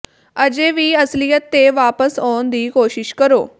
ਅਜੇ ਵੀ ਅਸਲੀਅਤ ਤੇ ਵਾਪਸ ਆਉਣ ਦੀ ਕੋਸ਼ਿਸ਼ ਕਰੋ